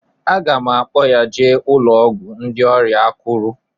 M ga-akpọ ya jee ụlọ ọgwụ ndị ọrịa akuru.